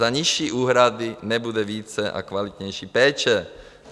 Za nižší úhrady nebude více a kvalitnější péče.